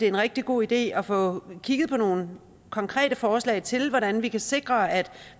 en rigtig god idé at få kigget på nogle konkrete forslag til hvordan vi kan sikre at